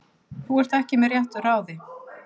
Þú ert ekki með réttu ráði.